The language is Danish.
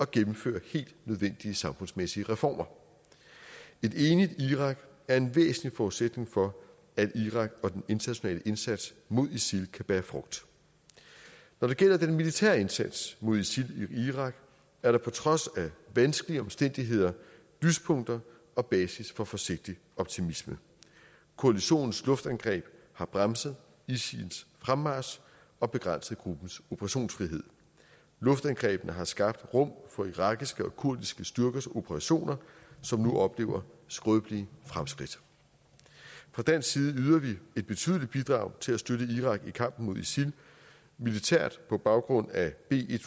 gennemfører helt nødvendige samfundsmæssige reformer et enigt irak er en væsentlig forudsætning for at iraks og den internationale indsats mod isil kan bære frugt når det gælder den militære indsats mod isil i irak er der på trods af vanskelige omstændigheder lyspunkter og basis for forsigtig optimisme koalitionens luftangreb har bremset isils fremmarch og begrænset gruppens operationsfrihed luftangrebene har skabt rum for irakiske og kurdiske styrkers operationer som nu oplever skrøbelige fremskridt fra dansk side yder vi et betydeligt bidrag til at støtte irak i kampen mod isil militært på baggrund af b en